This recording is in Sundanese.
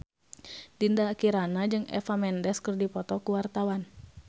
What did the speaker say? Dinda Kirana jeung Eva Mendes keur dipoto ku wartawan